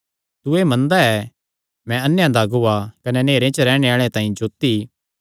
तू एह़ मनदा ऐ कि मैं अन्नेयां दा अगुआ कने नेहरे च रैहणे आल़ेआं तांई जोत्ती